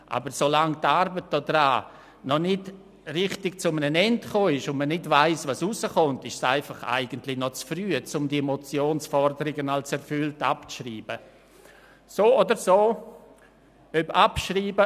Aber so lange die Arbeit daran noch nicht richtig zu Ende ist und man nicht weiss, was herauskommt, ist es noch zu früh, diese Motionsforderung als erfüllt abzuschreiben.